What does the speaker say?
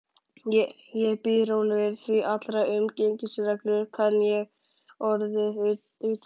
Ég bíð rólegur, því allar umgengnisreglur kann ég orðið utanbókar.